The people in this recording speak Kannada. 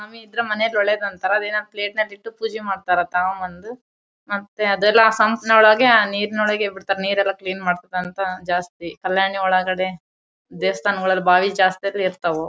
ಆಮೆ ಇದ್ರೆ ಮನೇಲಿ ಒಳ್ಳೇದು ಅಂತರ ಅದೇನೋ ಪ್ಲೇಟ್ ನಾಗ್ ಇತ್ತು ಪೂಜೆ ಮಾಡ್ತಾರಾ ತಗೋಬಂದು ಮತ್ತೆ ಅದೆಲ್ಲ ಸಾಂಪ್ ನೊಳೊಗೆ ಆ ನೀರ್ ನೊಳಗೆ ಬಿಡ್ತಾರೆ ನೀರ್ ನೆಲ್ಲ ಕ್ಲೀನ್ ಆಡ್ತಾರೆ ಅಂತ ಜಾಸ್ತಿ ಕಲ್ಯಾಣಿ ಒಳಗಡೆ ದೇವಸ್ಥಾನಗಳಲ್ಲಿ ಬಾವಿ ಜಾಸ್ತಿ ಅಂದ್ರೆ ಇರ್ತವು .